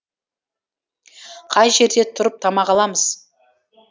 қай жерде тұрып тамақ аламыз